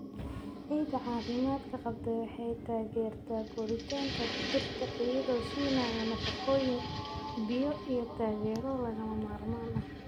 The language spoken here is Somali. Ciidda caafimaadka qabta waxay taageertaa koritaanka dhirta iyadoo siinaya nafaqooyin, biyo, iyo taageero lagama maarmaan ah.